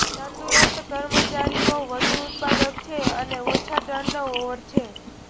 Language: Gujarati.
તંદુરસ્ત કર્મચારીઓ વધુ ઉત્પાદક છે અને ઓછા ટર્નઓવર છે